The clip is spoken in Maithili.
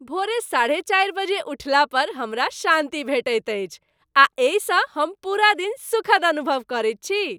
भोर साढ़े चारि बजे उठला पर हमरा शान्ति भेटैत अछि आ एहिसँ हम पूरा दिन सुखद अनुभव करैत छी।